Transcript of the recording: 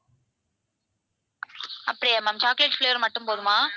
அப்படியா ma'am chocolate flavor மட்டும் போதுமா?